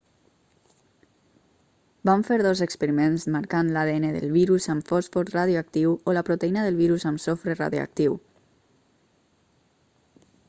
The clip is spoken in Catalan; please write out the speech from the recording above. van fer dos experiments marcant l'adn del virus amb fòsfor radioactiu o la proteïna del virus amb sofre radioactiu